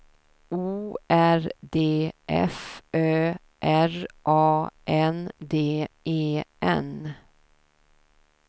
O R D F Ö R A N D E N